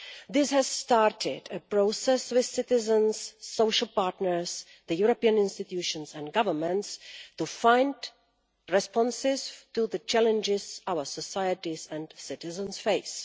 This has started a process with citizens, social partners and the European institutions and governments to find responses to the challenges our societies and citizens face.